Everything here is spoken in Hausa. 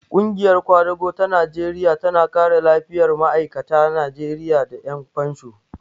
Ƙungiyar ƙwadago ta Najeriya tana kare lafiyar ma'aikata Najeriya da ƴan fansho.